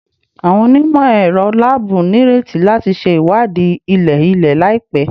Awọn onimọ-ẹrọ laabu nireti lati ṣe iwadii ilẹ-ilẹ laipẹ